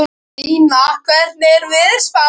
Stína, hvernig er veðurspáin?